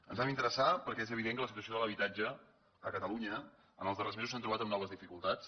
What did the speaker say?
ens hi vam interessar perquè és evident que la situació de l’habitatge a catalunya en els darrers mesos s’ha trobat amb noves dificultats